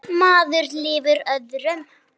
Maður lifir öðrum.